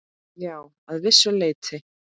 Já, að vissu leyti.